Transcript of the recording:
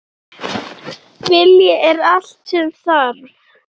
Vilji er allt sem þarf